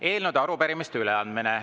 Eelnõude ja arupärimiste üleandmine.